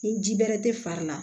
Ni ji bɛrɛ tɛ fari la